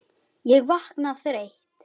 Ég vakna þreytt.